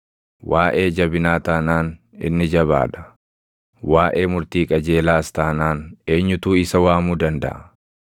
Waaʼee jabinaa taanaan inni jabaa dha! Waaʼee murtii qajeelaas taanaan eenyutu isa waamuu dandaʼa?